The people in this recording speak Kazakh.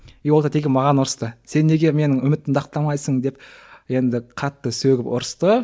и ол тәте келіп маған ұрысты сен неге менің үмітімді ақтамайсың деп енді қатты сөгіп ұрысты